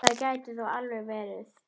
Það gæti þó alveg verið.